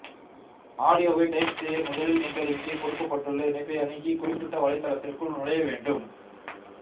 ஆடியோவை டைப் செய்ய முதலில் நீங்கள் இங்கே கொடுக்கப்பட்டுள்ள இணைப்பை அணுகி குறிப்பிட்ட வலைத்தளத்திற்குள் நுழைய வேண்டும்